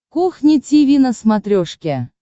кухня тиви на смотрешке